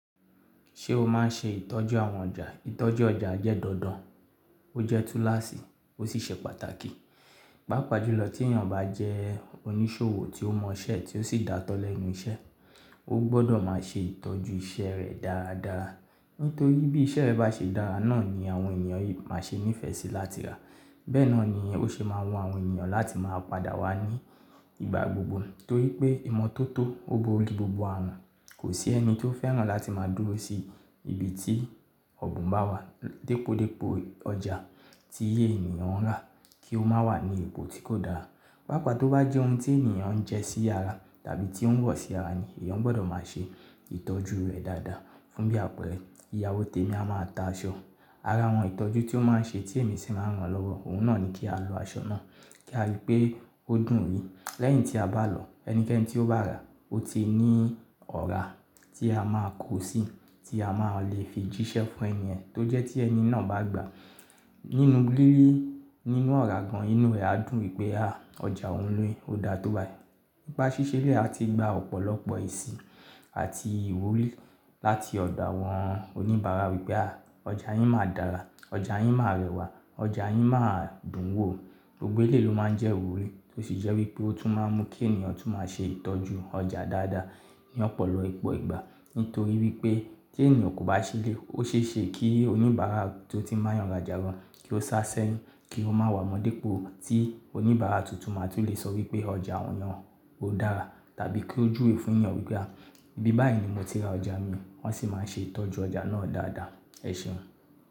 Ṣé o máa ń ṣe ìtọ́jú àwọn ọjà? Ìtọ́jú ọjà jẹ́ dandan, ó jẹ́ túláṣì, ó sì ṣe pàtàkì. Pàápàá jùlọ tí èèyàn bá jẹ́ oníṣòwò tí ó mọ iṣẹ́ ẹ tí ó sì dáátọ́ lẹ́nu iṣẹ́, ó gbọdọ̀ máa ṣe ìtọ́jú iṣẹ́ rẹ̀ dáadáa. Nítorí bí iṣẹ́ rẹ̀ bá ṣe dára, náà ni àwọn ènìyàn máa ṣe ní ìfẹ́ síi láti rà. Bẹ́ẹ̀ náà ni ó ṣe máa wọn àwọn ènìyàn láti máa padà wá ní ìgbà gbogbo. Torí pé ìmọ́tótó ó borí gbogbo àrùn. Kò sí ẹni tí ó fẹ́ràn láti máa dúró sí ibi tí ọ̀bùn bá wà. Dípòdípò ọjà tí èèyàn rà kí ó má wà ní ipò tí kò dára. Pàápàá tó bá jẹ́ ohun tí ènìyàn ń jẹ́ sí ara tàbí tí ó ń wọ̀ sí ara ni, èèyàn gbọdọ̀ máa ṣe ìtọ́jú rẹ̀ dáadáa. Fún bí àpẹẹrẹ, ìyáwó tèmi a máa ta aṣọ. Ara àwọn ìtọ́jú tí ó máa ń ṣe tí èmi sì máa ń ràn lọ́wọ́, òun náà ni kí a lọ aṣọ náà kí a rí pé ó dùn-ún rí. Lẹ́yìn tí a bá lọ, ẹnikẹ́ni tí ó bá rà ó ti ní ọ̀rá tí a máa kó síi tí a máa lè fi jíṣẹ́ fún èèyàn tó jẹ́ tí ẹni náà bá gbà á nínú lílé nínú ọ̀rá gan-an inú rẹ̀ á dùn wípé "à ọjà òun ni, ó dáa tó bá i." Nípa ṣíṣe eléyìí a ti gba ọ̀pọ̀lọpọ̀ èsì àti ìwúrí láti ọ̀dọ̀ àwọn oníbàárà wípé "à ọjà yín máa dára, ọjà yín máa rẹwà, ọjà yín máa dùn wò." Gbogbo eléyìí ló máa ń jẹ́ ìwúrí, ó sì jẹ́ wípé ó tún máa ń mú kí èèyàn tún máa ṣe ìtọ́jú ọjà dáadáa ní ọ̀pọ̀lọpọ̀ ìpọ̀ ìgbà. Nítorí wípé tí èèyàn kò bá ṣe eléyìí, ó ṣe é ṣe kí oníbàárà tó tin bayàn rajà gan kí ó sá sẹ́yìn kí ó má wámọ́ dípò tí oníbàárà tuntun máa tún lè sọ wípé ọjà òun yẹn ó dára tàbí kí ó jù wé fún èèyàn wípé "à bí báyìí ni mo ti ra ọjà mi wọ́n sì máa ń ṣe ìtọ́jú ọjà náà dáadáa." Ẹ ṣeun.